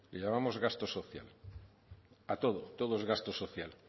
le llamamos gasto social a todo todo es gasto social